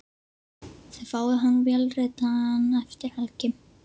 Þið fáið hann vélritaðan eftir helgi.